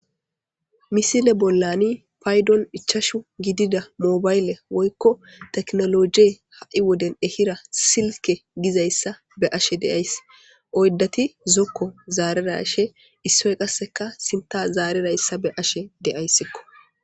Misile bollani paydon ichashu gidida moobayle woykko teknologe ha7i woden ehira silke gizayssa be ashe de7ays oyddati zokko zaarera she issoy qasseka sinta zaarerayssa be ashe de7ayssikko.